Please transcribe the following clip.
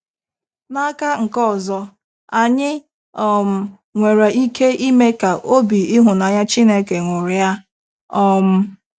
N’aka nke ọzọ, anyị um nwere ike ime ka obi ịhụnanya Chineke ñụrịa. um